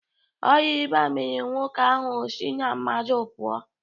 Ọria ịba mere nwoke ahụ o si na mmadụ pụọ.